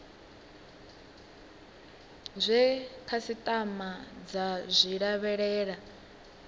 zwe khasitama dza zwi lavhelela